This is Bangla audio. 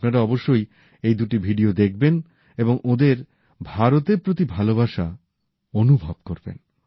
আপনারা অবশ্যই এই দুটি ভিডিও দেখবেন এবং ওঁদের ভারতের প্রতি ভালোবাসা অনুভব করবেন